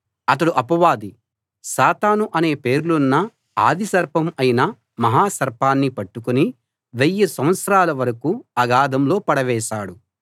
అతడు అపవాది సాతాను అనే పేర్లున్న ఆది సర్పం అయిన మహా సర్పాన్ని పట్టుకుని వెయ్యి సంవత్సరాల వరకూ అగాధంలో పడవేశాడు